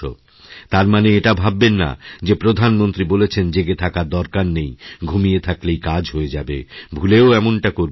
তার মানে এটা ভাববেন না যে প্রধানমন্ত্রী বলেছেন জেগেথাকার দরকার নেই ঘুমিয়ে থাকলেই কাজ হয়ে যাবে ভুলেও এমনটা করবেন না